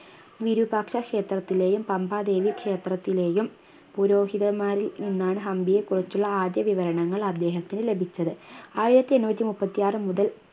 വീരൂപാക്ഷ ഷേത്രത്തിലെയും പമ്പ ദേവി ക്ഷേത്രത്തിലെയും പുരോഹിതന്മാരിൽ നിന്നാണ് ഹംപിയെക്കുറിച്ചുള്ള ആദ്യ വിവരണങ്ങൾ അദ്ദേഹത്തിന് ലഭിച്ചത് ആയിരത്തിയെണ്ണൂറ്റി മുപ്പത്തിയാർ മുതൽ